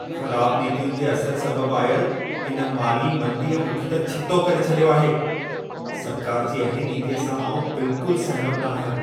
ख़राब नीतियुनि जे असर सबबु आयल इन माली मंदीअ मूंखे त छितो करे छॾियो आहे। सरकार जी अहिड़ी नीतीअ सां आउं बिल्कुलु सहमति न आहियां।